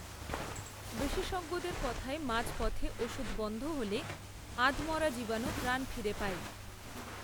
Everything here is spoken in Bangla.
বিশেষজ্ঞদের কথায় মাঝ, পথে, ওষুধ বন্ধ হলে, আধমরা জীবাণু প্রাণ ফিরে পায়